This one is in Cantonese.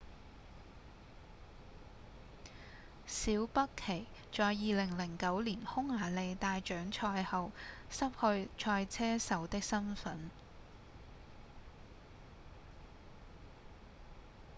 小畢奇在2009年匈牙利大獎賽後失去賽車手的身分